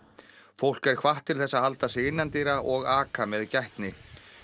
fólk er hvatt til þess að halda sig innandyra og aka með gætni